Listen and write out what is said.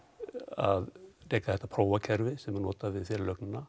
að reka þetta sem var notað við